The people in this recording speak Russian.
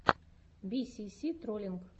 би си си троллинг